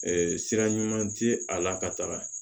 sira ɲuman tɛ a la ka taga